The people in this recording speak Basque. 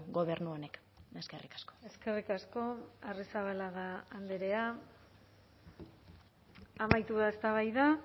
gobernu honek eskerrik asko eskerrik asko arrizabalaga andrea amaitu da eztabaida